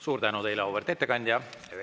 Suur tänu teile, auväärt ettekandja!